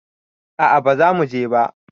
A'a bazamu je ba